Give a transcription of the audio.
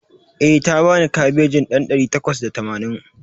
Eh, ta bani kabejin ɗan ɗari takwas da tamanin